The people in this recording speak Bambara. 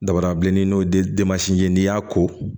Dabada bilenni n'o ye ye n'i y'a ko